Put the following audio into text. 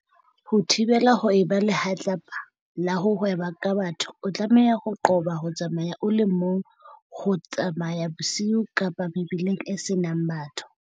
Ho thibela ho eba lehlatsi pa la ho hweba ka batho o tlameha ho qoba ho tsamaya o le mong, ho tsamaya bosiu kapa mebileng e senang batho.